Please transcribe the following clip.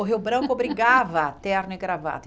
O Rio Branco obrigava terno e gravata.